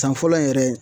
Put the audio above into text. San fɔlɔ yɛrɛ